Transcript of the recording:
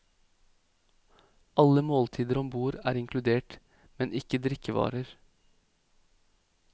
Alle måltider om bord er inkludert, men ikke drikkevarer.